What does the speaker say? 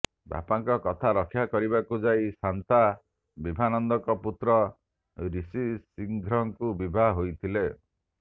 ବାପାଙ୍କ କଥା ରକ୍ଷା କରିବାକୁ ଯାଇ ଶାନ୍ତା ବିଭାନ୍ଦକଙ୍କ ପୁତ୍ର ରିଷିଶ୍ରିଙ୍ଘକୁ ବିଭା ହୋଇଥିଲେ